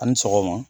A ni sɔgɔma